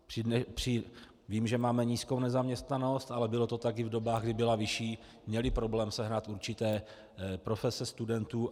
Vím, že máme nízkou nezaměstnanost, ale bylo to tak i v dobách, kdy byla vyšší, měly problém sehnat určité profese studentů.